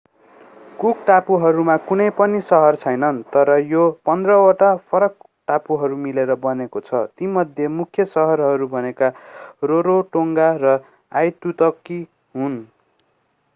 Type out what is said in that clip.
cook टापुहरूमा कुनै पनि सहर छैन तर यो 15वटा फरक टापुहरू मिलेर बनेको छ तीमध्ये मुख्य सहरहरू भनेका रारोटोङ्गा र आइतुतकी हुन्